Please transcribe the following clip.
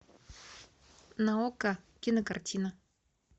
на окко кинокартина